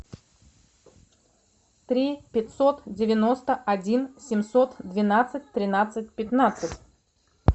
три пятьсот девяносто один семьсот двенадцать тринадцать пятнадцать